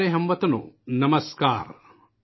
میرے پیارے ہم وطنو ، نمسکار !